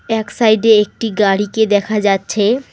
এক সাইড -এ একটি গাড়িকে দেখা যাচ্ছে।